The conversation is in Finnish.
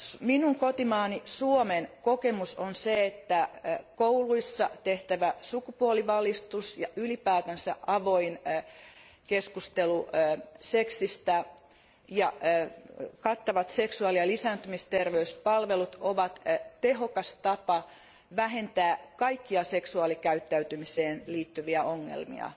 Minun kotimaani Suomen kokemus on se, että kouluissa tehtävä sukupuolivalistus ja ylipäätänsä avoin keskustelu seksistä ja kattavat seksuaali ja lisääntymisterveyspalvelut ovat tehokas tapa vähentää kaikkia seksuaalikäyttäytymiseen liittyviä ongelmia